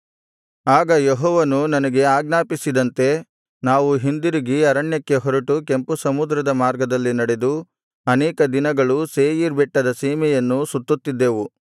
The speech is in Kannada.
ಆಗ ಯೆಹೋವನು ನನಗೆ ಆಜ್ಞಾಪಿಸಿದಂತೆ ನಾವು ಹಿಂದಿರುಗಿ ಅರಣ್ಯಕ್ಕೆ ಹೊರಟು ಕೆಂಪು ಸಮುದ್ರದ ಮಾರ್ಗದಲ್ಲಿ ನಡೆದು ಅನೇಕ ದಿನಗಳು ಸೇಯೀರ್ ಬೆಟ್ಟದ ಸೀಮೆಯನ್ನು ಸುತ್ತುತ್ತಿದ್ದೆವು